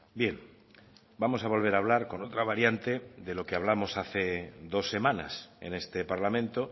bien vamos a volver a hablar con otra variante de lo que hablamos hace dos semanas en este parlamento